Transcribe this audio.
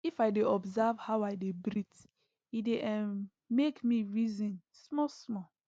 if i dey observe how i dey breath e dy um make me reason small small